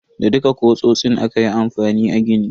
Da dukka kutsotsin aka yi amfani a gini.